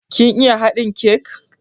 Kin iya haɗin kek?